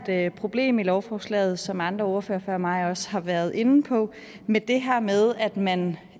der et problem i lovforslaget som andre ordførere før mig også har været inde på med det her med at man